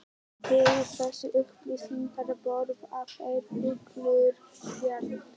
Fyrir þessar upplýsingar borga þeir fúlgur fjár.